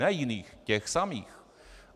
Ne jiných - těch samých.